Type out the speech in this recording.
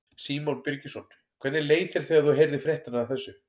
Símon Birgisson: Hvernig leið þér þegar þú heyrðir fréttirnar af þessu?